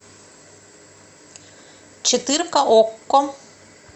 четырка окко